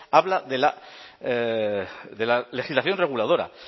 habla de la legislación reguladora